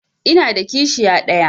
Ina da kishiya ɗaya.